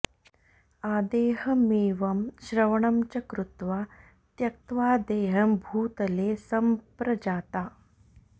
आदेहमेवं श्रवणं च कृत्वा त्यक्त्वा देहं भूतले सम्प्रजाता